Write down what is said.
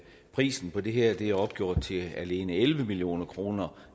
prisen på det her er opgjort til alene elleve million kroner